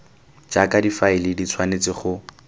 jaaka difaele di tshwanetse go